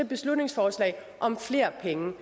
beslutningsforslag om flere penge